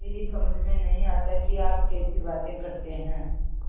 मेरी समझ में नहीं आता कि आप कैसी बातें करते हैं